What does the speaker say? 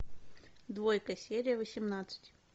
двойка серия восемнадцать